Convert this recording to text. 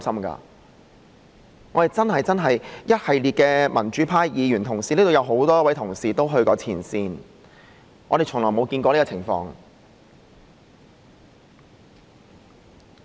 我們一眾民主派議員，雖然很多都曾去過前線，但是從來沒有見過這種情況。